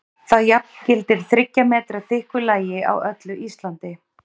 Það jafngildir þriggja metra þykku lagi á öllu Íslandi!